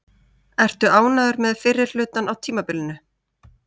Ertu ánægður með fyrri hlutann á tímabilinu?